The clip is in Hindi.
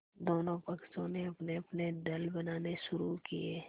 दोनों पक्षों ने अपनेअपने दल बनाने शुरू किये